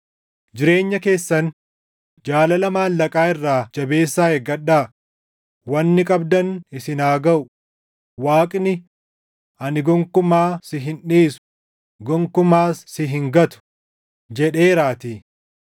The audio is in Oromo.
Jireenya keessan jaalala maallaqaa irraa jabeessaa eeggadhaa; wanni qabdan isin haa gaʼu; Waaqni, “Ani gonkumaa si hin dhiisu; gonkumaas si hin gatu” + 13:5 \+xt KeD 31:6\+xt* jedheeraatii.